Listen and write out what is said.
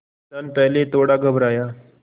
किसान पहले थोड़ा घबराया